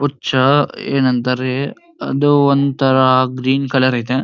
ಹುಚ್ಚಾ ಏನೆಂದರೆ ಅದು ಒಂತರ ಗ್ರೀನ್ ಕಲರ್ ಆಯ್ತೆ.